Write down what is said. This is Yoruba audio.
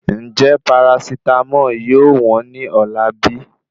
Njẹ parasitámọ̀ yóò wọn ní ọ̀la bí?